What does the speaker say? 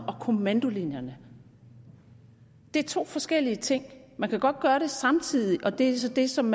og kommandolinjerne det er to forskellige ting man kan godt gøre det samtidig og det er så det som